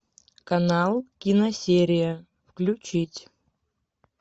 канал киносерия включить